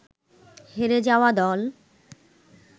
হেরে যাওয়া দল